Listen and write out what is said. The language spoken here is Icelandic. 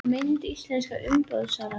Mynd: Íslenska umboðssalan